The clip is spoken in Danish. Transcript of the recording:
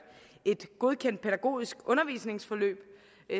et godkendt pædagogisk undervisningsforløb